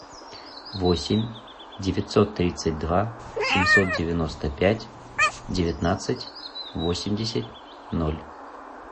восемь девятьсот тридцать два семьсот девяносто пять девятнадцать восемьдесят ноль